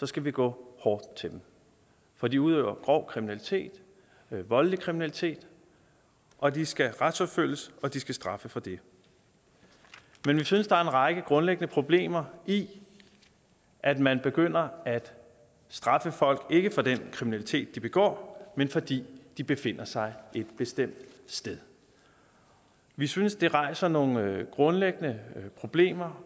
skal vi gå hårdt til dem for de udøver grov kriminalitet voldelig kriminalitet og de skal retsforfølges og de skal straffes for det men vi synes der er en række grundlæggende problemer i at man begynder at straffe folk ikke for den kriminalitet de begår men fordi de befinder sig et bestemt sted vi synes det rejser nogle grundlæggende problemer